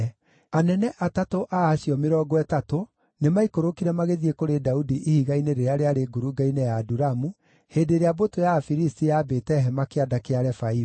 Anene atatũ a acio mĩrongo ĩtatũ, nĩmaikũrũkire magĩthiĩ kũrĩ Daudi ihiga-inĩ rĩrĩa rĩarĩ ngurunga-inĩ ya Adulamu, hĩndĩ ĩrĩa mbũtũ ya Afilisti yaambĩte hema Kĩanda kĩa Refaimu.